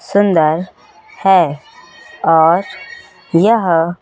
सुंदर है और यह--